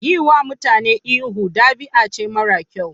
Yiwa mutane ihu, ɗabi'a ce mara kyau.